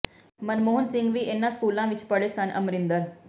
ਮਨਮੋਹਨ ਸਿੰਘ ਵੀ ਇਨ੍ਹਾਂ ਸਕੂਲਾਂ ਵਿੱਚ ਪੜ੍ਹੇ ਸਨ ਅਮਰਿੰਦਰ